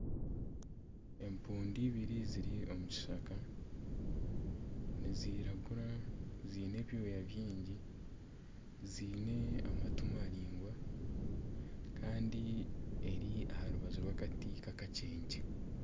Empundu ibiri ziri omu kishaka, niziragura ziine ebyoya byingi, ziine amatu maraingwa, kandi ziri aha rubaju rw'akati kakakyenkye